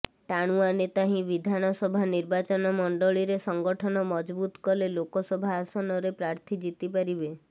ଟାଣୁଆ ନେତା ହିଁ ବିଧାନସଭା ନିର୍ବାଚନମଣ୍ଡଳୀରେ ସଙ୍ଗଠନ ମଜବୁତ କଲେ ଲୋକସଭା ଆସନରେ ପ୍ରାର୍ଥୀ ଜିତି ପାରିବେ